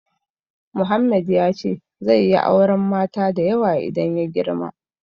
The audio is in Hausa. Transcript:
Mohammed ya ce zai yi auren mata da yawa idan ya girma.